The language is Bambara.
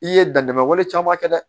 I ye dantɛmɛ wale caman kɛ dɛ